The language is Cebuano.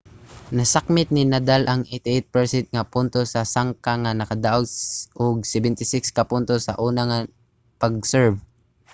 nasakmit ni nadal ang 88% nga puntos sa sangka nga nakadaog og 76 ka puntos sa una nga pag-serve